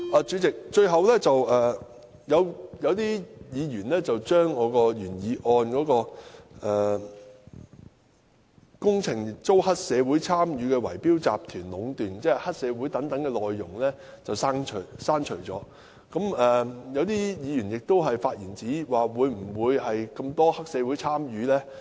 主席，最後，有議員把我的原議案內"工程遭黑社會參與的圍標集團壟斷"有關黑社會等內容刪除，亦有議員發言質疑有否這麼多黑社會參與。